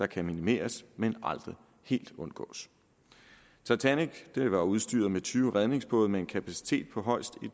kan minimeres men aldrig helt undgås titanic var udstyret med tyve redningsbåde med en kapacitet på højst